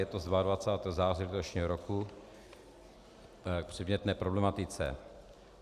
Je to z 22. září letošního roku k předmětné problematice.